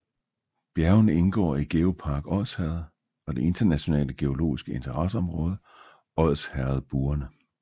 Bjergene indgår i GeoPark Odsherred og det internationale geologiske interesseområde Odsherredbuerne